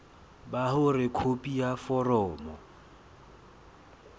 ba hore khopi ya foromo